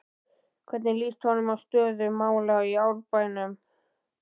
Hvernig lýst honum á stöðu mála í Árbænum?